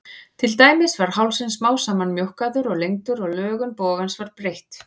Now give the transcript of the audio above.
Til dæmis var hálsinn smám saman mjókkaður og lengdur og lögun bogans var breytt.